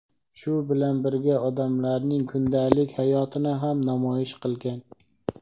shu bilan birga odamlarning kundalik hayotini ham namoyish qilgan.